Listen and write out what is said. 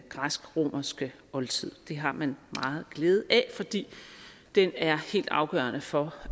græsk romerske oldtid det har man meget glæde af fordi den er helt afgørende for